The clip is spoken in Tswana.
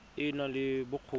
e e nang le bokgoni